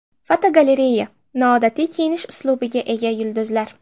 Fotogalereya: Noodatiy kiyinish uslubiga ega yulduzlar.